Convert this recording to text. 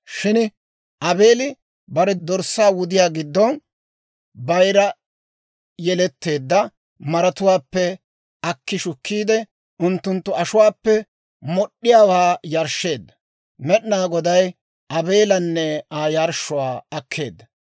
shin Aabeeli bare dorssaa wudiyaa giddon bayira yeletteedda maratuwaappe akki shukkiide, unttunttu ashuwaappe mod'd'iyaawaa yarshsheedda. Med'inaa Goday Aabeelanne Aa yarshshuwaa akkeedda;